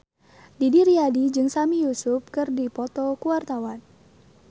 Didi Riyadi jeung Sami Yusuf keur dipoto ku wartawan